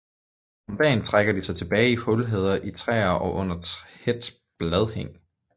Om dagen trækker de sig tilbage i hulheder i træer eller under tæt bladhang